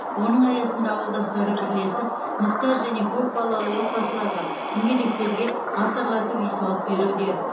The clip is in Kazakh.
оның аясында ауылдастары бірлесіп мұқтаж және көпбалалы отбасыларға мүгедектерге асарлатып үй салып беруде